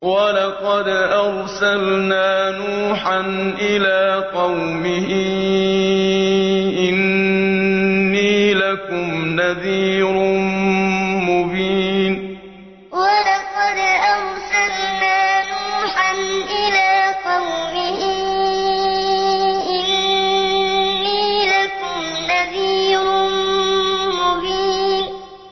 وَلَقَدْ أَرْسَلْنَا نُوحًا إِلَىٰ قَوْمِهِ إِنِّي لَكُمْ نَذِيرٌ مُّبِينٌ وَلَقَدْ أَرْسَلْنَا نُوحًا إِلَىٰ قَوْمِهِ إِنِّي لَكُمْ نَذِيرٌ مُّبِينٌ